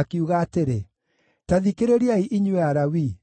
akiuga atĩrĩ: “Ta thikĩrĩriai inyuĩ Alawii!